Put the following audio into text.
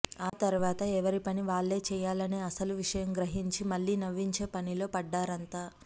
ఆ తర్వాత ఎవరి పని వాళ్లే చెయ్యాలనే అసలు విషయం గ్రహించి మళ్లీ నవ్వించే పనిలో పడ్డారంతా